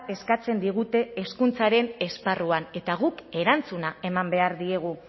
eskatzen digute hezkuntzaren esparruan eta guk erantzuna eman behar diegu